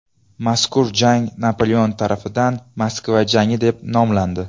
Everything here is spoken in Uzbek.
Mazkur jang Napoleon tarafidan Moskva jangi deb nomlandi.